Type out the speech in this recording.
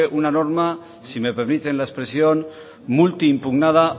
una norma si me permite la expresión multiimpugnada